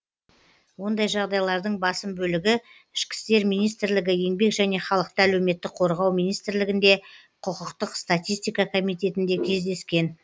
ондай жағдайлардың басым бөлігі ішкі істер министрлігі еңбек және халықты әлеуметтік қорғау министрлігінде құқықтық статистика комитетінде кездескен